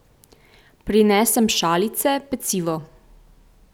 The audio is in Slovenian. Prinesem šalice, pecivo.